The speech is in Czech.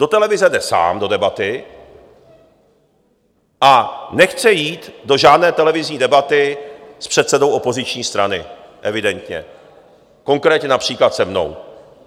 Do televize jde sám, do debaty, a nechce jít do žádné televizní debaty s předsedou opoziční strany evidentně, konkrétně například se mnou.